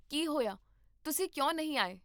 ਕੀ ਹੋਇਆ, ਤੁਸੀਂ ਕਿਉਂ ਨਹੀਂ ਆਏ?